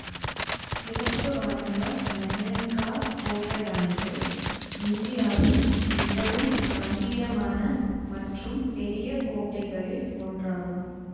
சிறப்புவாய்ந்த மெஹ்ரன்காஹ் கோட்டையானது இந்தியாவின் மிகவும் கம்பீரமான மற்றும் பெரிய கோட்டைகளில் ஒன்றாகும்